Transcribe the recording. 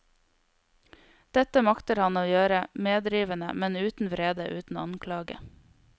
Dette makter han å gjøre medrivende, men uten vrede, uten anklage.